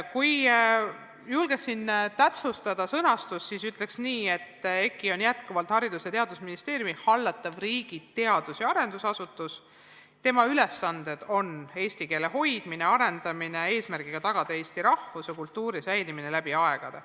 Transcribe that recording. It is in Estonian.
Kui julgeks siin täpsustada sõnastust, siis ütleks nii, et EKI on jätkuvalt Haridus- ja Teadusministeeriumi hallatav riigi teadus- ja arendusasutus, tema ülesanded on eesti keele hoidmine-arendamine eesmärgiga tagada eesti rahvuse ja kultuuri säilimine läbi aegade.